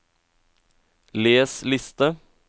les liste